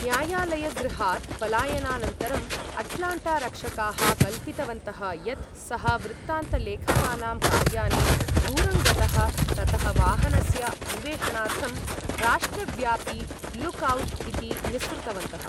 न्यायालयगृहात् पलायनानन्तरम् अट्लाण्टारक्षकाः कल्पितवन्तः यत् सः वृत्तान्तलेखकानां कार्याने दूरं गतः ततः वाहनस्य अन्वेषणार्थं राष्ट्रव्यापि लुक् औट् इति निःसृतवन्तः।